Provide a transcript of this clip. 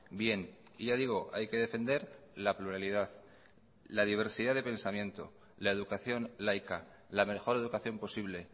bien y ya digo hay que defender la pluralidad la diversidad de pensamiento la educación laica la mejor educación posible